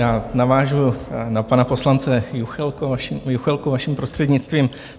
Já navážu na pana poslance Juchelku, vaším prostřednictvím.